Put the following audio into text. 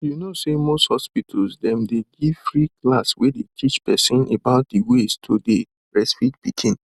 you know say most hospital dem dey give free class wey dey teach person about the ways to dey breastfeed pikin